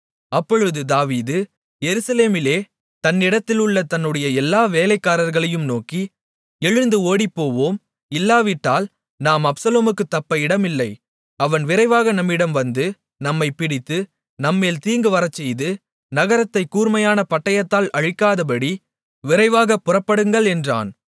அப்பொழுது தாவீது எருசலேமிலே தன்னிடத்தில் உள்ள தன்னுடைய எல்லா வேலைக்காரர்களையும் நோக்கி எழுந்து ஓடிப்போவோம் இல்லாவிட்டால் நாம் அப்சலோமுக்குத் தப்ப இடமில்லை அவன் விரைவாக நம்மிடம் வந்து நம்மைப் பிடித்து நம்மேல் தீங்கு வரச்செய்து நகரத்தைக் கூர்மையான பட்டயத்தால் அழிக்காதபடி விரைவாகப் புறப்படுங்கள் என்றான்